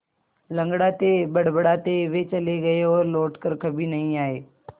लँगड़ाते बड़बड़ाते वे चले गए और लौट कर कभी नहीं आए